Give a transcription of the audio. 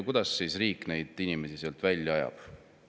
Kuidas siis riik inimesi maalt välja ajab?